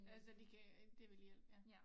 Altså det kan det vil hjælpe ja